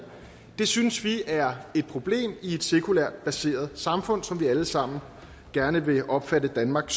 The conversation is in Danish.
det synes vi er et problem i et sekulært baseret samfund som vi alle sammen gerne vil opfatte danmark